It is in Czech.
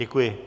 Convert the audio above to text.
Děkuji.